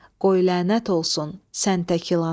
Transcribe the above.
Qoy lənət olsun sən tək ilana.